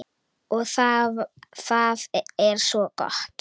Og það er svo gott.